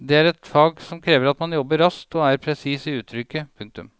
Det er et fag som krever at man jobber raskt og er presis i uttrykket. punktum